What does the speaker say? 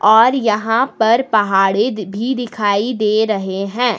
और यहां पर पहाड़े भी दिखाई दे रहे हैं।